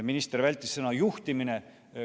Minister vältis sõna "juhtimine".